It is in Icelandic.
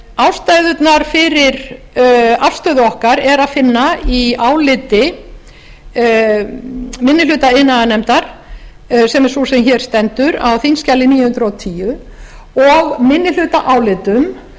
ástæðurnar fyrir afstöðu okkar er að finna í áliti minni hluta iðnaðarnefndar sem er sú sem hér stendur á á þingskjali níu hundruð og tíu og minnihlutaálitum